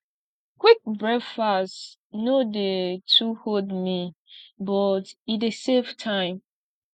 quick breakfast no dey too hold me but e dey save time